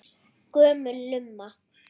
Gömul lumma.